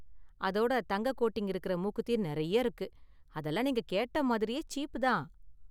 அதோட தங்க கோட்டிங் இருக்குற மூக்குத்தி நெறைய இருக்கு, அதெல்லாம் நீங்க கேட்ட மாதிரியே சீப் தான்.